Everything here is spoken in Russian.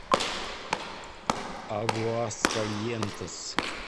агуаскальентес